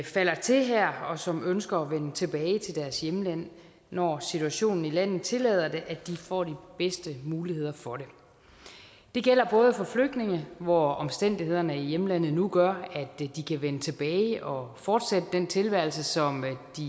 falder til her og som ønsker at vende tilbage til deres hjemland når situationen i landet tillader det får de bedste muligheder for det det gælder både for flygtninge hvor omstændighederne i hjemlandet nu gør at de kan vende tilbage og fortsætte den tilværelse som